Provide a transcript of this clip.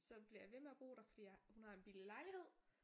Så bliver jeg ved med at bo der for jeg hun har en billig lejlighed